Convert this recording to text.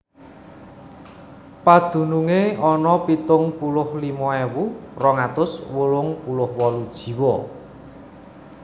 Padunungé ana pitung puluh limo ewu rong atus wolung puluh wolu jiwa